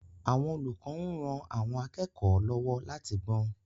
Àwọn olùkọ́ ń ran àwọn akẹ́kọ̀ọ́ lọ́wọ́ láti gbọ́n.